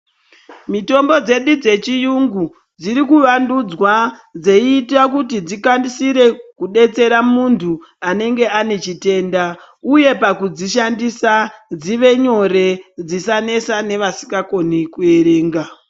Mitombo dzedu dzechiyungu dziri kuvandudzwa dzeitira kuti dzikaisire kudetsera muntu anenge anechitenda uye pakudzishandisa dzive nyore dzisanesa nevasingakoni kuerenga.